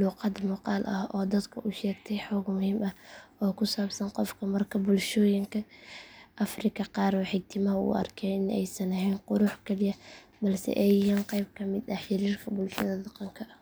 luuqad muuqaal ah oo dadka u sheegtay xog muhiim ah oo ku saabsan qofka markaa bulshooyinka afrika qaar waxay timaha u arkeen in aysan ahayn qurux kaliya balse ay yihiin qeyb ka mid ah xiriirka bulshada dhaqanka iyo aqoonsiga shakhsiga ah